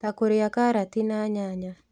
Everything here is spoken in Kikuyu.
Ta kũrĩa karati na nyanya